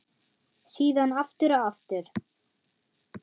Síðan aftur og aftur.